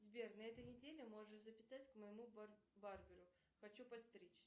сбер на этой неделе можешь записать к моему барберу хочу подстричься